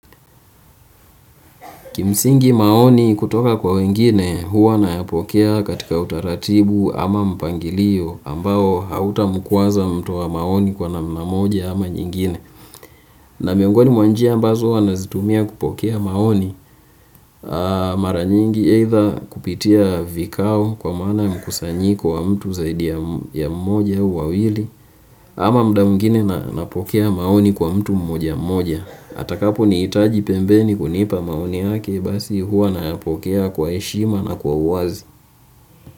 Kimsingi maoni kutoka kwa wengine huwa ninayapokea katika utaratibu ama mpangilio ambao hautamkwaza mtoa maoni kwa namna moja ama nyingine. Na miongoni mwa njia ambazo huwa ninazitumia kupokea maoni mara nyingi aidha kupitia vikao kwa maana mkusanyiko wa mtu zaidi ya mmoja au wawili ama muda mwingine ninapokea maoni kwa mtu mmoja mmoja. Atakapo nihitaji pembeni kunipa maoni yake basi huwa ninayapokea kwa heshima na kwa uwazi.